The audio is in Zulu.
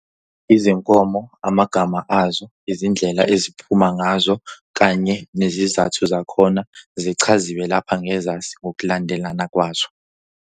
Izinkomo, amagama azo, izindlela eziphuma ngazo, kanye nezizathu zakhona zichaziwe lapha ngenzansi ngokulandelana kwazo.